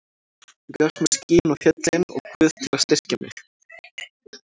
Þú gafst mér skýin og fjöllin og Guð til að styrkja mig.